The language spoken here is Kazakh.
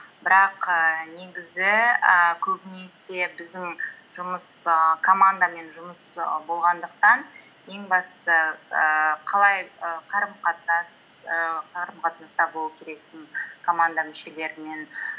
бірақ ііі негізі ііі көбінесе біздің жұмыс ііі командамен жұмыс і болғандықтан ең бастысы ііі қалай і і қарым қатынаста болу керексің команда мүшелерімен